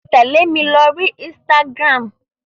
Tẹ̀lé mi lóri Instagram.